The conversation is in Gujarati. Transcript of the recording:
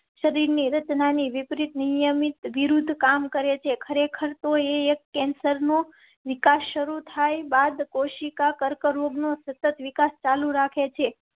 શરીર ની રચના ની વિપરીત નિયમિત વિરોધ કામ કરેં છે. ખરેખર તો એક કેન્સર નો વિકાસ શરૂ થાય બાદ કોશિકા કર્કરોગ નો સતત વિકાસ ચાલુ રાખે છે.